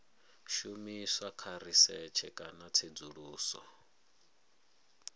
shumiswa kha risetshe kana tsedzuluso